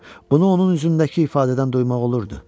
Bunu onun üzündəki ifadədən duymaq olurdu.